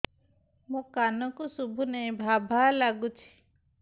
ମୋ କାନକୁ ଶୁଭୁନି ଭା ଭା ଲାଗୁଚି